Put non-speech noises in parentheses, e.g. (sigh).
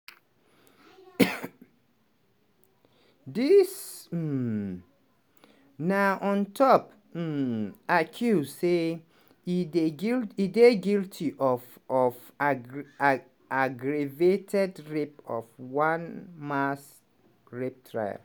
(coughs) dis um na on top um accuse say e dae gui e dey guilty of of aggreagaggravated rape for one mass rape trial.